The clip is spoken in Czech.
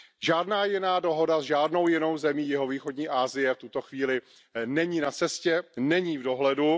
Žádná jiná dohoda s žádnou jinou zemí jihovýchodní Asie v tuto chvíli není na cestě, není v dohledu.